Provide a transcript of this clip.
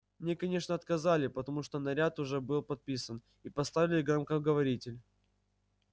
мне конечно отказали потому что наряд уже был подписан и поставили громкоговоритель